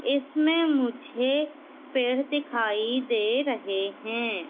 इसमें मुझे पेड़ दिखाई दे रहे हैं।